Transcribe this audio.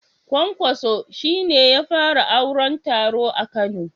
Kwankwaso shi ne ya fara auron taro a kano